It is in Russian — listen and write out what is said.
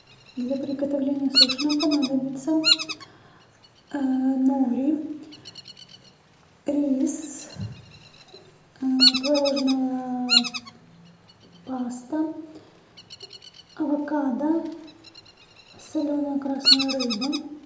для приготовления суши нам понадобится нури рис творожная паста авокадо соленая красная рыба